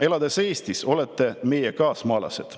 Elades Eestis, olete meie kaasmaalased.